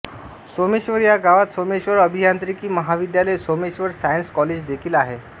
सोमेश्वर या गावात सोमेश्वर अभियांत्रिकी महाविद्यालय सोमेश्वर सायन्स् कॉलेज देखिल आहे